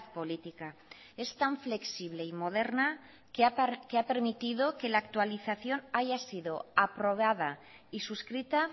política es tan flexible y moderna que ha permitido que la actualización haya sido aprobada y suscrita